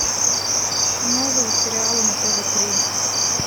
новые сериалы на тв три